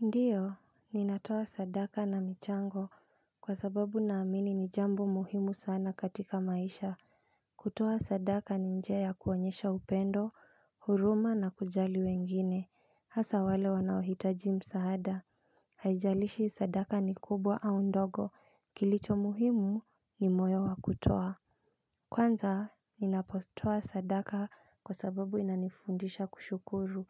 Ndiyo, ninatoa sadaka na michango kwa sababu naamini ni jambo muhimu sana katika maisha. Kutoa sadaka ni njia ya kuonyesha upendo, huruma na kujali wengine. Hasa wale wanaohitaji msahada. Hajialishi sadaka ni kubwa au ndogo. Kilicho muhimu ni moyo wa kutoa. Kwanza, ninapotoa sadaka kwa sababu inanifundisha kushukuru.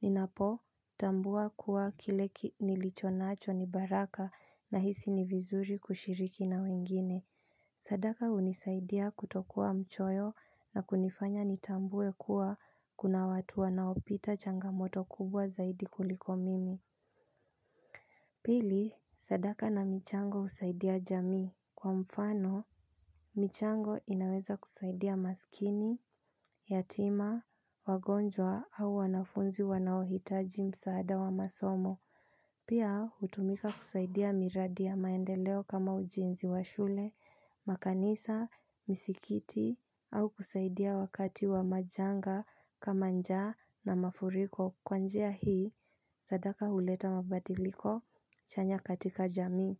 Ninapo tambua kuwa kile nilicho naacho ni baraka nahisi ni vizuri kushiriki na wengine. Sadaka hunisaidia kutokua mchoyo na kunifanya nitambuwe kwa kuna watu wanaopita changamoto kubwa zaidi kuliko mimi. Pili, sadaka na michango usaidia jamii kwa mfano. Michango inaweza kusaidia maskini, yatima, wagonjwa au wanafunzi wanaohitaji msaada wa masomo. Pia hutumika kusaidia miradi ya maendeleo kama ujenzi wa shule, makanisa, misikiti, au kusaidia wakati wa majanga kama njaa na mafuriko. Kwa njia hii, sadaka huleta mabadiliko chanya katika jamii.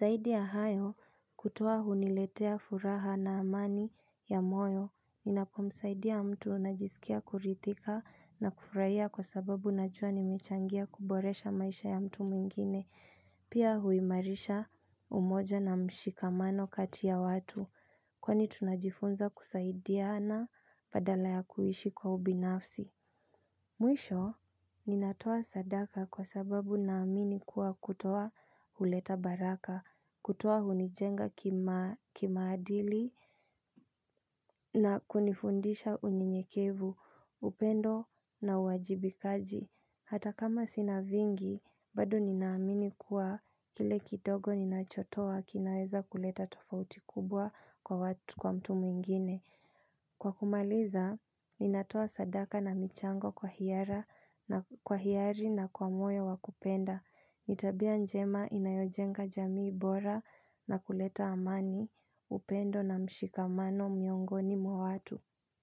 Zaidi ya hayo kutoa huniletea furaha na amani ya moyo. Ninapomusaidia mtu najiskia kuridhika na kufuraia kwa sababu najua nimechangia kuboresha maisha ya mtu mwingine. Pia huimarisha umoja na mshikamano kati ya watu. Kwani tunajifunza kusaidiana badala ya kuishi kwa ubinafsi. Mwisho, ninatua sadaka kusababu naamini kuwa kutoa huleta baraka, kutoa hunijenga kimaadili na kunifundisha unyenyekevu, upendo na uwajibikaji. Hata kama sina vingi, bado ninaamini kuwa kile kidogo ninachotoa kinaweza kuleta tofauti kubwa kwa watu kwa mtu mwingine. Kwa kumaliza, ninatoa sadaka na michango kwa hiari na kwa moyo wa kupenda. Ni tabia njema inayojenga jamii bora na kuleta amani upendo na mshikamano miongoni mwa watu.